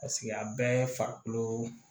Paseke a bɛɛ farikolo